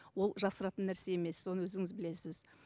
ол жасыратын нәрсе емес оны өзіңіз білесіз